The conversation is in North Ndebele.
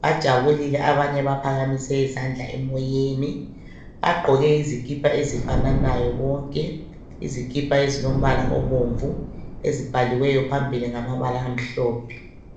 bajabulile abanye baphakamise izandla emoyeni. Bagqoke izikipa ezifananayo bonke ezilombala obomvu ezibhaliweyo phambili ngamabala amhlophe.